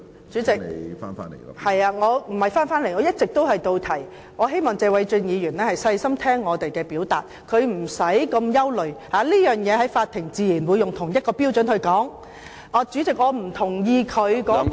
主席，我的發言一直貼題，我希望謝偉俊議員細心聽我表述，他無須那麼憂慮，法庭自然會以同一個標準判斷這事，主席，我不同意他所謂......